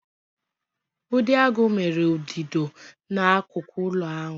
Udidoagu mere ụdịdo e n'akụkụ ọnụ ụlọ ahụ.